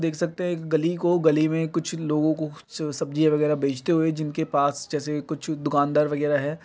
देख सकते है एक गली को गली में कुछ लोगो को सब्जी वगेरा बेचते हुए जिनके पास जैसे कुछ दुकानदार वगेरा है।